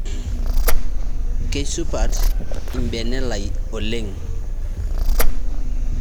Keisupat lbene lai oleng